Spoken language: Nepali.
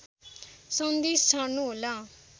सन्देश छाड्नुहोला